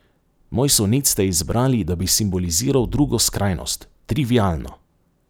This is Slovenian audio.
Moj sonet ste izbrali, da bi simboliziral drugo skrajnost, trivialno.